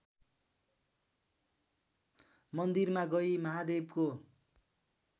मन्दिरमा गई महादेवको